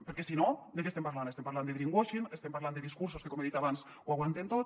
perquè si no de què estem parlant estem parlant de greenwashing estem parlant de discursos que com he dit abans ho aguanten tot